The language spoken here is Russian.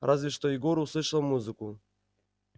разве что егор услышал музыку